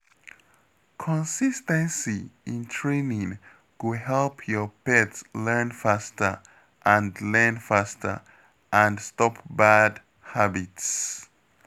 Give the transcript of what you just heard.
Consis ten cy in training go help your pet learn faster and learn faster and stop bad habits.